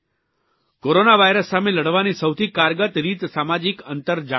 corona virus સામે લડવાની સૌથી કારગત રીત સામાજીક અંતર જાળવવાની છે